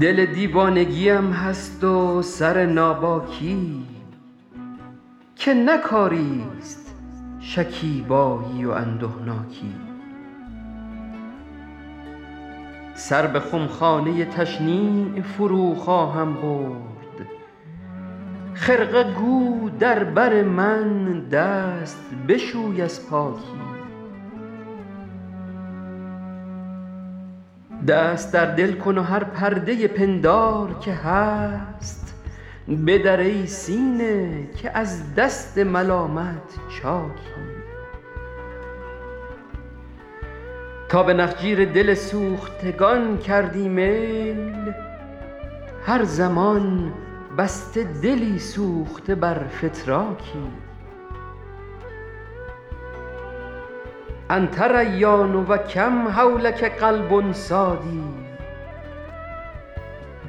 دل دیوانگی ام هست و سر ناباکی که نه کاری ست شکیبایی و اندهناکی سر به خمخانه تشنیع فرو خواهم برد خرقه گو در بر من دست بشوی از پاکی دست در دل کن و هر پرده پندار که هست بدر ای سینه که از دست ملامت چاکی تا به نخجیر دل سوختگان کردی میل هر زمان بسته دلی سوخته بر فتراکی أنت ریان و کم حولک قلب صاد